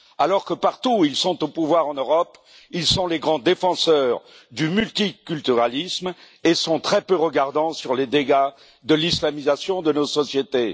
Alors que partout où ils sont au pouvoir en Europe, ils sont les grands défenseurs du multiculturalisme et sont très peu regardants sur les dégâts de l'islamisation de nos sociétés.